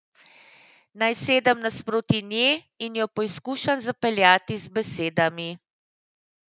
Naj sedem nasproti nje in jo poizkušam zapeljati z besedami?